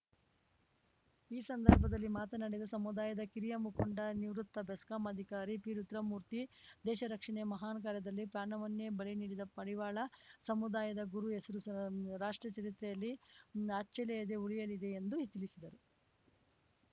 ಈ ಸಂದರ್ಭದಲ್ಲಿ ಮಾತನಾಡಿದ ಸಮುದಾಯದ ಕಿರಿಯ ಮುಖಂಡ ನಿವೃತ್ತ ಬೆಸ್ಕಾಂ ಅಧಿಕಾರಿ ಪಿರುದ್ರಮೂರ್ತಿ ದೇಶ ರಕ್ಷಣೆ ಮಹಾನ್‌ ಕಾರ್ಯದಲ್ಲಿ ಪ್ರಾಣವನ್ನೇ ಬಲಿ ನೀಡಿದ ಮಡಿವಾಳ ಸಮುದಾಯದ ಗುರು ಹೆಸರು ರಾಷ್ಟ್ರದ ಚರಿತ್ರೆಯಲ್ಲಿ ಅಚ್ಚಳಿಯದೇ ಉಳಿಯಲಿದೆ ಎಂದು ತಿಳಿಸಿದರು